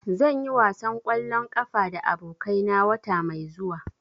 Zan yi wasan ƙwallon ƙafa da abokai na wata mai zuwa.